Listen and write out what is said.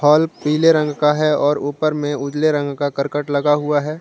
Pulp पीले रंग का है और ऊपर में उजले रंग का करकट लगा हुआ हैं।